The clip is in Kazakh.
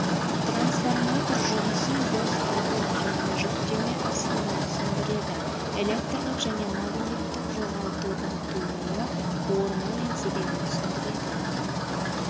трансформатор жұмысын бос адым мен жүктеме астында түсіндіреді электрлік және магниттік жоғалтулардың тууы орны мен себебін түсіндіреді